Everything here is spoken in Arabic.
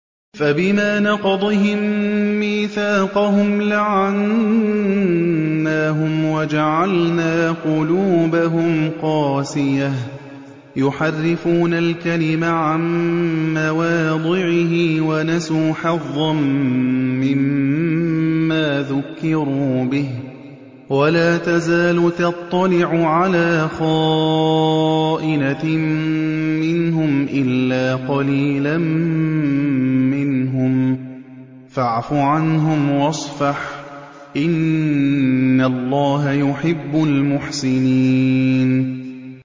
فَبِمَا نَقْضِهِم مِّيثَاقَهُمْ لَعَنَّاهُمْ وَجَعَلْنَا قُلُوبَهُمْ قَاسِيَةً ۖ يُحَرِّفُونَ الْكَلِمَ عَن مَّوَاضِعِهِ ۙ وَنَسُوا حَظًّا مِّمَّا ذُكِّرُوا بِهِ ۚ وَلَا تَزَالُ تَطَّلِعُ عَلَىٰ خَائِنَةٍ مِّنْهُمْ إِلَّا قَلِيلًا مِّنْهُمْ ۖ فَاعْفُ عَنْهُمْ وَاصْفَحْ ۚ إِنَّ اللَّهَ يُحِبُّ الْمُحْسِنِينَ